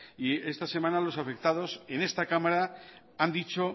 esta semana los afectados en esta cámara han dicho